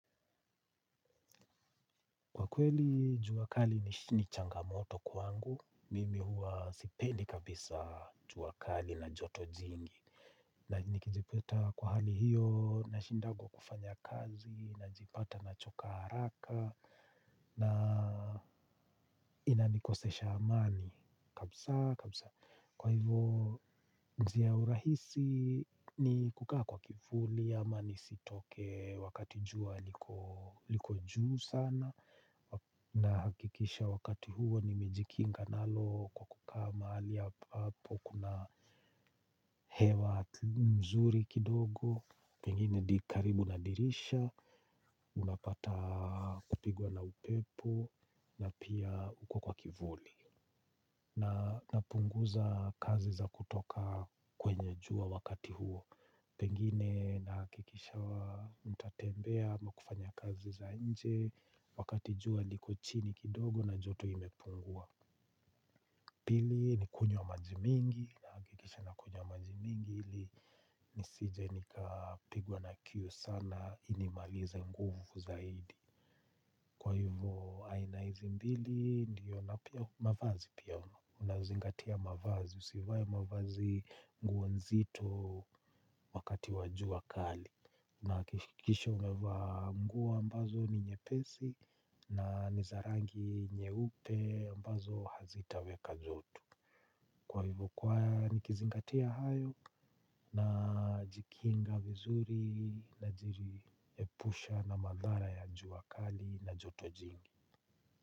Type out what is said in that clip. Kwa kweli jua kali ni changamoto kwangu mimi huwa sipendi kabisa jua kali na joto jingi. Na nikijipata kwa hali hiyo na shindangwa kufanya kazi na jipata na choka haraka na inanikosesha amani kabisa kabisa. Kwa hivo njia ya urahisi ni kukaa kwa kivuli ama nisitokee wakati jua liko juu sana. Na hakikisha wakati huo nimejikinga nalo kwa kukaa mahali ambapo kuna hewa nzuri kidogo. Pengine di karibu nadirisha. Unapata kupigwa na upepo na pia ukokwa kivuli. Na napunguza kazi za kutoka kwenye jua wakati huo. Pengine nahakikisha nitatembea ama kufanya kazi za nje. Wakati jua liko chini kidogo na joto imepungua. Pili ni kunywa maji mingi. Nahakikisha na kunywa maji mingi ili nisije nikapigwa na kiu sana. Inimalize nguvu zaidi. Kwa hivyo aina hizi mbili. Ndiyo na pia mavazi pia unazingatia mavazi. Usivae mavazi nguo nzito. Wakati wa jua kali unahakikisha umevaa nguo ambazo ni nyepesi. Na niza rangi nyeupe ambazo hazitaweka jotu. Kwa hivo kwa ni kizingatia hayo na jikinga vizuri na jiri epusha na madhara ya jua kali na joto jingi.